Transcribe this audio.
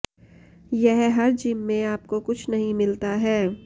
यह हर जिम में आपको कुछ नहीं मिलता है